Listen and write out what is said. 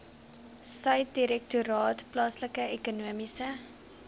subdirektoraat plaaslike ekonomiese